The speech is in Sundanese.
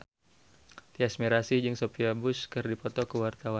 Tyas Mirasih jeung Sophia Bush keur dipoto ku wartawan